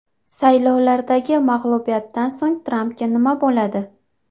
Saylovlardagi mag‘lubiyatdan so‘ng Trampga nima bo‘ladi?